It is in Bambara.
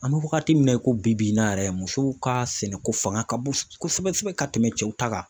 An bɛ wagati min na i ko bi in na yɛrɛ; musow ka sɛnɛko fanga ka bon kosɛbɛ kosɛbɛ ka tɛmɛ cɛw ta kan.